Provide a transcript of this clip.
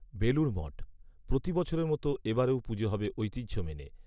বেলুড় মঠ, প্রতি বছরের মতো এ বারেও পুজো হবে ঐতিহ্য মেনে।